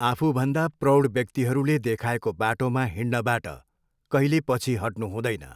आफूभन्दा प्रौढ व्यक्तिहरूले देखाएको बाटोमा हिँड्नबाट कहिले पछि हट्नुहुँदैन।